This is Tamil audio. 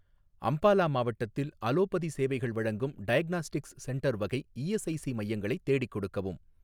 அம்பாலா மாவட்டத்தில் அலோபதி சேவைகள் வழங்கும் டயக்னாஸ்டிக்ஸ் சென்டர் வகை இஎஸ்ஐசி மையங்களை தேடிக் கொடுக்கவும்.